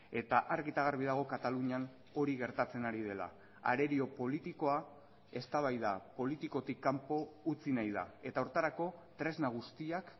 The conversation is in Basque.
eta argi eta garbi dago katalunian hori gertatzen ari dela arerio politikoa eztabaida politikotik kanpo utzi nahi da eta horretarako tresna guztiak